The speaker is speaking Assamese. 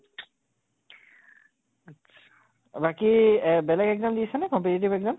আত্চ্ছা বাকী এহ বেলেগ exam দিছে নে competitive exam?